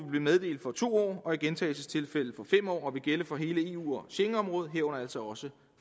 blive meddelt for to år og i gentagelsestilfælde for år og vil gælde for hele eu og schengenområdet herunder altså også